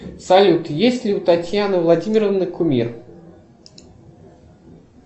салют есть ли у татьяны владимировны кумир